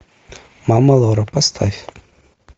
мама лора поставь